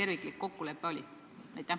Milline oli terve kokkulepe?